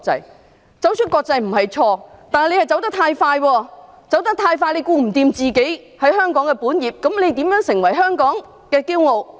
要走出國際並不是錯，但港鐵公司走得太快，兼顧不到香港的本業，那它如何成為香港的驕傲？